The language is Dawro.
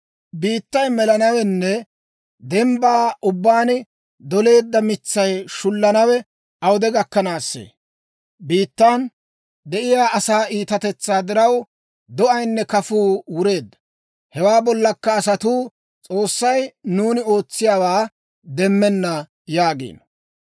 Biittay melanawenne dembbaa ubbaan doleedda maatay shullanawe awude gakkanaassee? Biittan de'iyaa asaa iitatetsaa diraw, do'aynne kafuu wureedda. Hewaa bollakka asatuu, «S'oossay nuuni ootsiyaawaa demmenna» yaagiino.